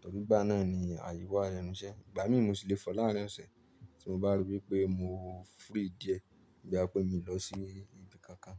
tọ́ rí igbá náà ni àyè wà lẹ́nu iṣẹ́. Ìgbà mí mo si lè fọ láàárín ọ̀sẹ̀ tí mo bá ri wípé mọ free díẹ̀, boya pé mi lọ sí ibi kankan.